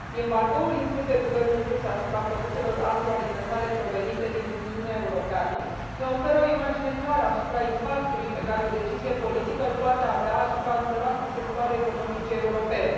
Embargoul impus de guvernul rus asupra produselor agroalimentare provenite din Uniunea Europeană ne oferă o imagine clară a impactului pe care o decizie politică îl poate avea asupra a numeroase sectoare economice europene.